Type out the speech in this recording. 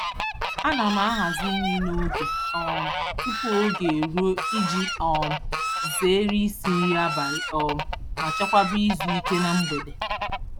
Ana m ahazi nri n'oge um tupu oge eruo iji um zeere isi nri abalị um ma chekwaba izu ike na mgbede.